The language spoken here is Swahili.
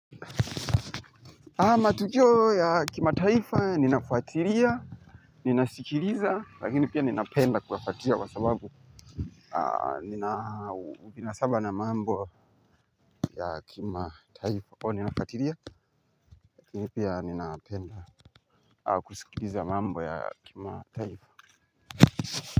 Matukio ya kima taifa ninafatiria, ninasikiliza lakini pia ninapenda kuyafatiria wa sababu nina ubinasaba na mambo ya kima taifa o ninafatiria lakini pia ninapenda kusikiliza mambo ya kima taifa.